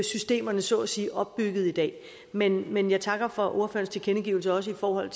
systemerne så at sige er opbygget i dag men men jeg takker for ordførerens tilkendegivelse også i forhold